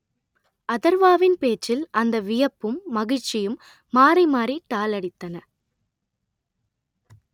அதர்வாவின் பேச்சில் அந்த வியப்பும் மகிழ்ச்சியும் மாறி மாறி டாலடித்தன